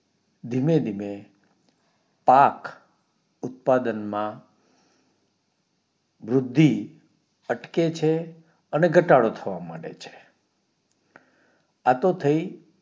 ધીમે ધીમે પાક ઉત્પાદન માં વૃદ્ધિ અટકે છે અને ઘટાડો થવા માંડે છે આ તો થઇ